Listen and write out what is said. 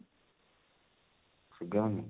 Suga ହଉନି